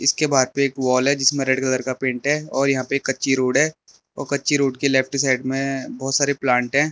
इसके बाहर पे वॉल है जिसमें रेड कलर का पेंट है और यहां पे कच्ची रोड है और कच्ची रोड की लेफ्ट साइड में बहुत सारी प्लांट है।